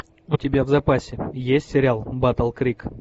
у тебя в запасе есть сериал батл крик